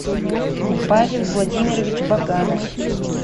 павел владимирович баганов